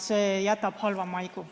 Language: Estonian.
See jätab halva maigu.